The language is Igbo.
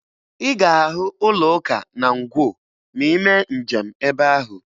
Ị ga-ahụ ụlọụka na Ngwo ma ị mee njem ebe ahụ.